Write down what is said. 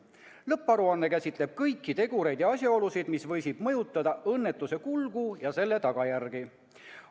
Lõpparuanne käsitleb kõiki tegureid ja asjaolusid, mis võisid mõjutada õnnetuse kulgu ja selle tagajärgi.